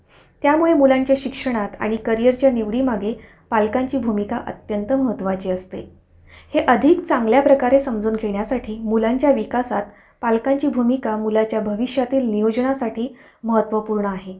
तर redmi मध्ये oneplus आहे का? चांगला